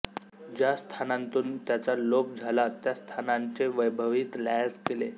ज्या स्थानांतून त्याचा लोप झाला त्या स्थानांचे वैभवही लयास गेले